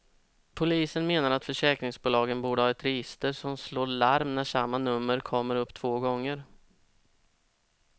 Polisen menar att försäkringsbolagen borde ha ett register som slår larm när samma nummer kommer upp två gånger.